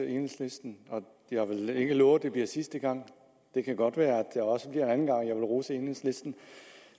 enhedslisten og jeg vil ikke love at det bliver sidste gang det kan godt være at der også jeg vil rose enhedslisten